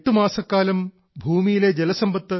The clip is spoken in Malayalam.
സ്വംഗോഭിഹ മോക്തം ആരേഭേ പർജന്യഹ കാൽ ആഗതേ